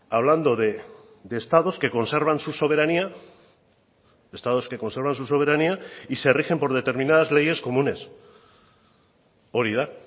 hablando de estados que conservan su soberanía estados que conservan su soberanía y se rigen por determinadas leyes comunes hori da